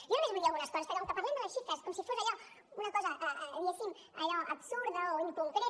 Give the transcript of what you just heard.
jo només vull dir algunes coses perquè com que parlem de les xifres és com si fos allò una cosa diguéssim absurda o inconcreta